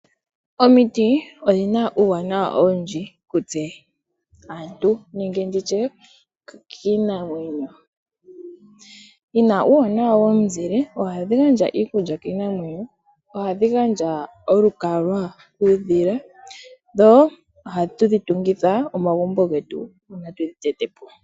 Omiti odhina uuwanawa owundji kutse aantu, nenge nditye kiinamwenyo, dhina uuwanawa womuzile, ohadhi gandja iikulya kiinamwenyo, oha dhi gandja olukalwa kuudhila, dho oha tu dhi tungitha omagumbo getu uuna twedhhi tete po.